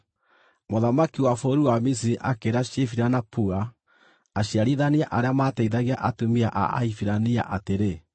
Mũthamaki wa bũrũri wa Misiri akĩĩra Shifira na Pua, aciarithania arĩa maateithagia atumia a Ahibirania, atĩrĩ,